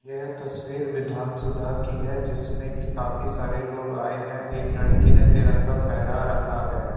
यह तस्वीर विधानसुधा की है जिसमें की काफी सारे लोग आए हैं एक लड़की ने तिरंगा फ़हेरा रखा है।